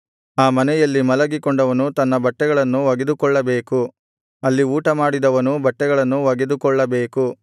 ಆ ಮನೆಯಲ್ಲಿ ಮಲಗಿಕೊಂಡವನು ತನ್ನ ಬಟ್ಟೆಗಳನ್ನು ಒಗೆದುಕೊಳ್ಳಬೇಕು ಅಲ್ಲಿ ಊಟಮಾಡಿದವನೂ ಬಟ್ಟೆಗಳನ್ನು ಒಗೆದುಕೊಳ್ಳಬೇಕು